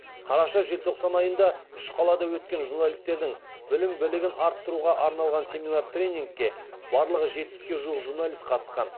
қараша желтоқсан айында үш қалада өткен журналистердің білім білігін арттыруға арналған семинар тренингке барлығы жетпіске жуық журналист қатысқан